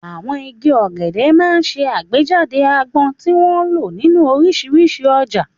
Àwọn igi ọ̀gẹ̀dẹ̀ máa ń ṣe àgbéjáde àgbọn, tí wọ́n ń lò nínú oríṣiríṣi ọjà.